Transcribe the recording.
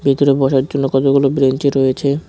ভিতরে বসার জন্য কতগুলো ব্রেঞ্চি রয়েছে।